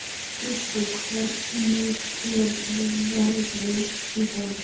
Kristó, hvernig er veðrið í dag?